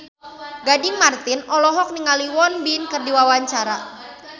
Gading Marten olohok ningali Won Bin keur diwawancara